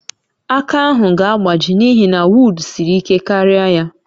Aka ahụ ga-agbaji n'ihi na wod siri ike karịa ya